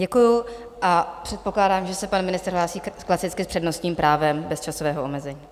Děkuji a předpokládám, že se pan ministr hlásí klasicky s přednostním právem bez časového omezení.